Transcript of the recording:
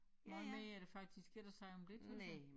Hvad mere er der faktisk ikke at sige om det tror